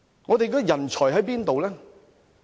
我們的人才在哪裏？